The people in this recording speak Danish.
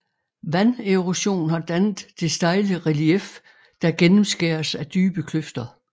Vanderosion har dannet det stejle relief der gennemskæres af dybe kløfter